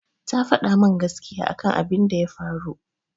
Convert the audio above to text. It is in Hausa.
Ta faɗa min gaskiya akan abin da ya faru.